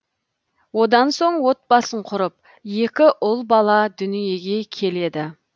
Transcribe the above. одан соң отбасын құрып екі ұл бала дүиеге келеді